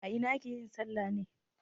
A ina ake yin salla ne?